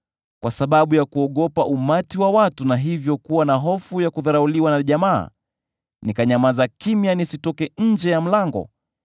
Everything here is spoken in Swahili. kwa sababu ya kuogopa umati wa watu, na hivyo kuwa na hofu ya kudharauliwa na jamaa, nikanyamaza kimya nisitoke nje ya mlango: